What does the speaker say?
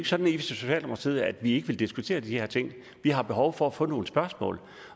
sådan i socialdemokratiet at vi ikke vil diskutere de her ting vi har behov for at få nogle spørgsmål